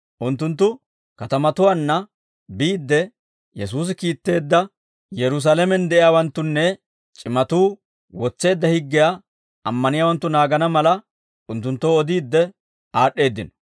Unttunttu katamatuwaanna biidde, Yesuusi kiitteedda Yerusaalamen de'iyaawanttunne c'imatuu wotseedda higgiyaa ammaniyaawanttu naagana mala, unttunttoo odiidde aad'd'eeddino.